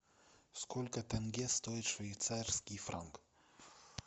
сколько тенге стоит швейцарский франк